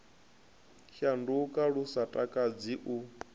shanduka lu sa takadzi u